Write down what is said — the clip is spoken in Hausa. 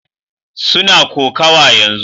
Suna kokawa yanzu